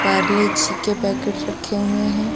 पारले-जी के पैकेट्स रखे हुए हैं।